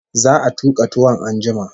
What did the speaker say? Za'a tuka tuwon an jima